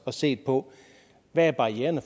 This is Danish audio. og set på hvad barriererne